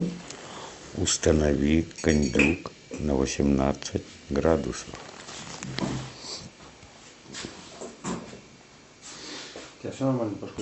установи кондюк на восемнадцать градусов